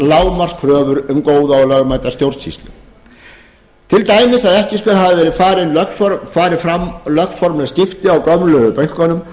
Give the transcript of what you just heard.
lágmarkskröfur um góða og lögmæta stjórnsýslu til dæmis að ekki skuli hafa farið fram lögformleg skipti á gömlu bönkunum